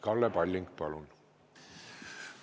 Kalle Palling, palun!